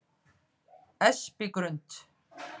Espigrund